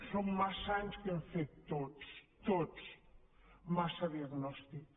són massa anys que hem fet tots tots massa diagnòstic